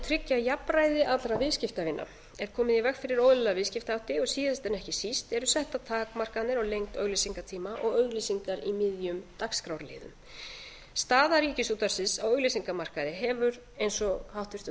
tryggja jafnræði allra viðskiptavina er komið í veg fyrir óeðlilega viðskiptahætti og síðast en ekki síst eru settar takmarkanir á lengd auglýsingatíma og auglýsingar í miðjum dagskrárliðum staða ríkisútvarpsins á auglýsingamarkaði hefur eins og háttvirtum